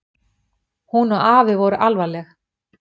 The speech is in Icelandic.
Hún og afi voru alvarleg.